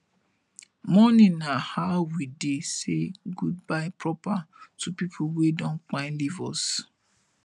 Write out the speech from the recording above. mourning na how we dey say goodbye proper to pipo wey don kpai leave us